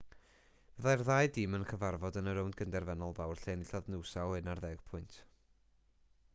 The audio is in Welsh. byddai'r ddau dîm yn cyfarfod yn y rownd gyn-derfynol fawr lle enillodd noosa o 11 pwynt